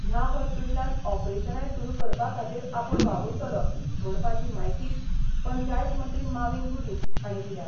ह्या हॉस्पिटलांत ऑपरेशानाय सुरु करपा खातीर आपुण वावुरतलो म्हणपाची म्हायती पंचायत मंत्री माविन गुदिन हाणें दिल्या.